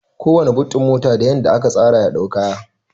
Kowanna but ɗin mota da yadda aka tsara ya dau kaya